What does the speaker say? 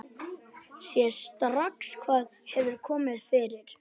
Sér strax hvað hefur komið fyrir.